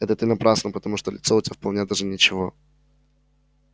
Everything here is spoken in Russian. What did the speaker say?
это ты напрасно потому что лицо у тебя вполне даже ничего